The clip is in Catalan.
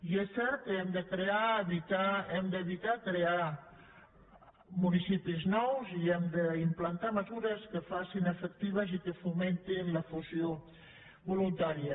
i és cert que hem d’evitar crear municipis nous i hem d’implantar mesures que facin efectiva i que fomentin la fusió voluntària